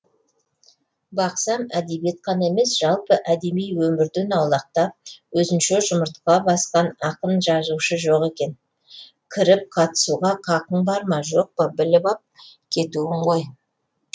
бақсам әдебиет қана емес жалпы әдеби өмірден аулақтап өзінше жұмыртқа басқан ақын жазушы жоқ екен кіріп қатысуға қақың бар ма жоқ па біліп ақ кетуің ғой